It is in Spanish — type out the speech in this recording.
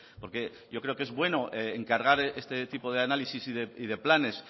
porque yo creo que es bueno encargar este tipo de análisis y de planes